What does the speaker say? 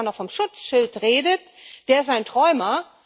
Wer da noch von Schutzschild redet, der ist ein Träumer.